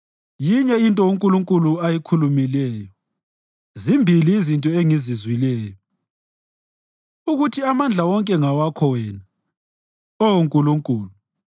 Yinye into uNkulunkulu ayikhulumileyo, zimbili izinto engizizwileyo, ukuthi amandla wonke ngawakho wena, Oh Nkulunkulu.